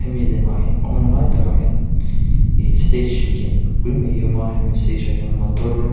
hemi lemah hian kawng lai takah hian ihh stage lianpui mai hi a awm a hemi stage ah hian motor --